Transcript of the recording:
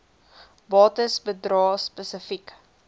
bates bedrae spesifiek